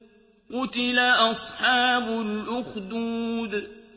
قُتِلَ أَصْحَابُ الْأُخْدُودِ